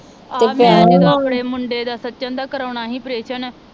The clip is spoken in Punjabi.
ਆ ਮੈ ਜਦੋ ਆਪਣੇ ਮੁੰਡੇ ਦਾ ਸਚਿਨ ਦਾ ਕਰਾਉਣਾ ਹੀ ਆਪ੍ਰੇਸਨ